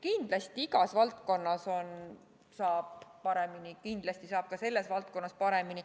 Kindlasti saab aga igas valdkonnas paremini ja saab ka selles valdkonnas paremini.